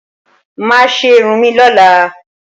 Máa ṣe irun mi lọ́la.